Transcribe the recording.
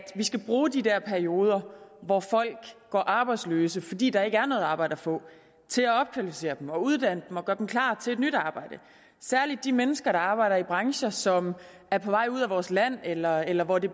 vi skal bruge de der perioder hvor folk går arbejdsløse fordi der ikke er noget arbejde at få til at opkvalificere dem og uddanne dem og gøre dem klar til et nyt arbejde særlig de mennesker der arbejder i brancher som er på vej ud af vores land eller eller hvor det